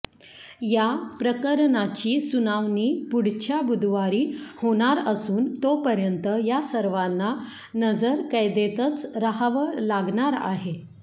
या प्रकरणाची सुनावणी पुढच्या बुधवारी होणार असून तोपर्यंत या सर्वांना नजरकैदेतच राहावं लागणार आहे